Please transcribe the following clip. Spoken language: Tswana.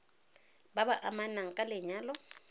ba ba amanang ka lenyalo